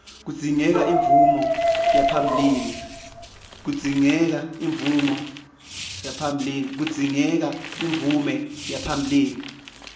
kudzingeka imvume yaphambilini